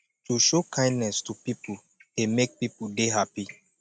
to show kindness to pipo dey make pipo de happy